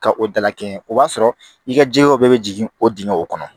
Ka o dalakɛɲɛ o b'a sɔrɔ i ka jɛkɛw bɛɛ bɛ jigin o dingɛ o kɔnɔ